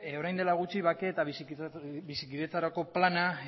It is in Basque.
orain dela gutxi bake eta bizikidetzarako plana